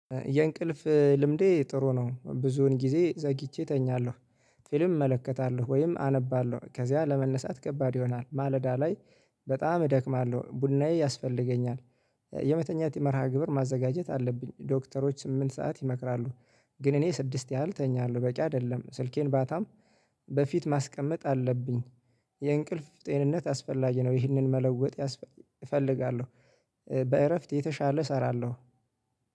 የእንቅልፍ ልምዴ ጥሩ ነው ብዙውን ጊዜ ዘግይቼ እተኛለሁ። ፊልም እመለከታለሁ ወይም አነባለሁ ከዚያ ለመነሳት ከባድ ይሆናል ማለዳ ላይ በጣም እደክማለሁ ቡናዬ ያስፈልገኛል። የመተኛት የመርሃ ግብር ማዘጋጀት አለብኝ ዶክተሮች ስምንት ሰዓት ይመክራሉ። ግን እኔ ስድስት ያህል እተኛለሁ በቂ አይደለም ስልኬን ባጣም በፊት ማስቀመጥ አለብኝ። የእንቅልፍ ጤንነት አስፈላጊ ነው ይህንን መለወጥ እፈልጋለሁ። በእረፍት የተሻለ እሰራለሁ።